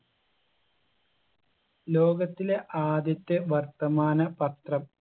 ലോകത്തിലെ ആദ്യത്തെ വർത്തമാന പത്രം